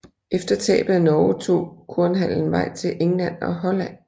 Efter tabet af Norge tog kornhandelen vej til England og Holland